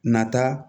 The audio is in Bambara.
Nata